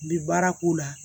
Bi baara k'o la